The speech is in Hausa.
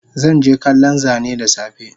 Zanje kallon Zane dasafe